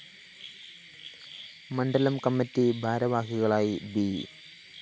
മണ്ഡലം കമ്മിറ്റി ഭാരവാഹികളായി ബി